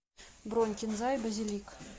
бронь кинза и базилик